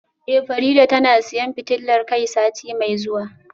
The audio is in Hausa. Eh Farida tana siyan fitilar kai sati mai zuwa